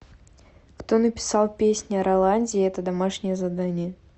кто написал песнь о роланде это домашнее задание